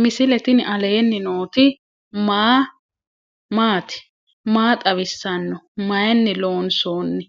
misile tini alenni nooti maati? maa xawissanno? Maayinni loonisoonni?